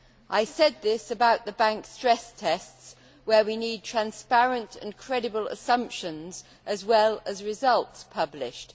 I said this about the banks' stress tests, where we need transparent and credible assumptions, as well as results, published.